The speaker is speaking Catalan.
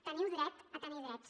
teniu dret a tenir drets